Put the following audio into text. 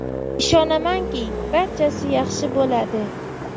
Ishonamanki, barchasi yaxshi bo‘ladi.